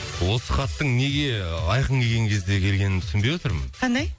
осы хаттың неге ыыы айқын келген кезде келгенін түсінбей отырмын қандай